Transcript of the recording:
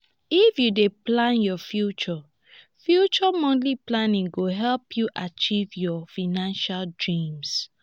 if you dey plan your future future monthly planning go help you achieve your financial dreams.